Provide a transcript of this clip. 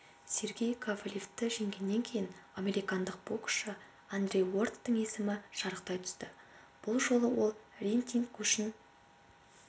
сергей ковалевті жеңгеннен кейін американдық боксшы андре уордтың есімі шарықтай түсті бұл жолы ол рейтинг көшін